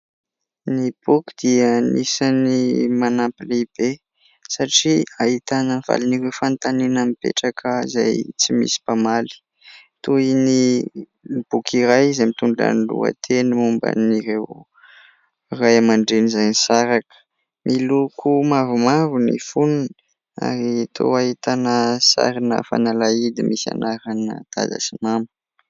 Ny boky dia anisan'ny manampy lehibe satria ahitana ny valin'ireo fanontaniana mipetraka izay tsy misy mpamaly. Toy ny boky iray izay mitondra ny lohateny momban'ireo ray aman-dreny izay nisaraka. Miloko mavomavo ny fonony ary toa ahitana sarina fanalahidy misy anarana dada sy mama.